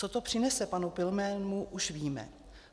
Co to přinese panu Pilnému, už víme.